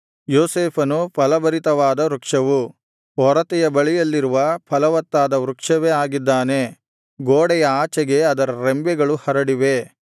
ಯೋಸೇಫನು ಫಲಭರಿತವಾದ ವೃಕ್ಷವು ಒರತೆಯ ಬಳಿಯಲ್ಲಿರುವ ಫಲವತ್ತಾದ ವೃಕ್ಷವೇ ಆಗಿದ್ದಾನೆ ಗೋಡೆಯ ಆಚೆಗೆ ಅದರ ರೆಂಬೆಗಳು ಹರಡಿವೆ